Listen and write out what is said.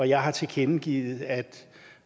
jeg har tilkendegivet at